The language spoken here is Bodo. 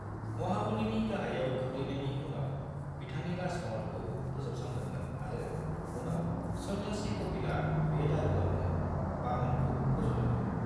महाबलीनि गाहायाव गोग्लैनायनि उनाव, बिथांनि राजमहलखौ फोजोबस्रांदोंमोन आरो उनाव सन्यासि कपिलआ बे दागोआवनो वामनखौ फजदोंमोन।